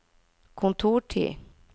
kontortid